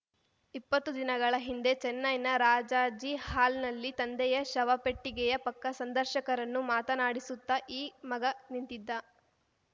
ಇಪ್ಪತ್ತು ದಿನಗಳ ಹಿಂದೆ ಚೆನ್ನೈನ ರಾಜಾಜಿ ಹಾಲ್‌ನಲ್ಲಿ ತಂದೆಯ ಶವಪೆಟ್ಟಿಗೆಯ ಪಕ್ಕ ಸಂದರ್ಶಕರನ್ನು ಮಾತನಾಡಿಸುತ್ತ ಈ ಮಗ ನಿಂತಿದ್ದ